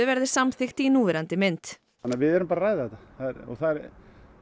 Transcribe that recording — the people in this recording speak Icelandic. verði samþykkt í núverandi mynd þannig við erum bara að ræða þetta það er